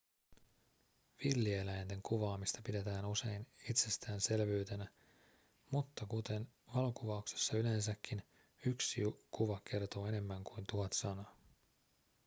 villieläinten kuvaamista pidetään usein itsestäänselvyytenä mutta kuten valokuvauksessa yleensäkin yksi kuva kertoo enemmän kuin tuhat sanaa